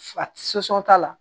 t'a la